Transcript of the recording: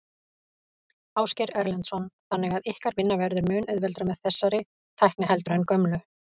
Ásgeir Erlendsson: Þannig að ykkar vinna verður mun auðveldari með þessari tækni heldur en gömlu?